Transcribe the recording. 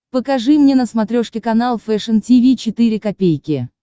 покажи мне на смотрешке канал фэшн ти ви четыре ка